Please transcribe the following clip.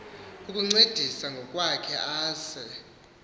ukuncedisa ngokwakhe aze